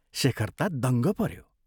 शेखर ता दङ्ग पऱ्यो।